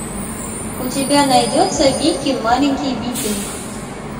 у тебя найдется вики маленький викинг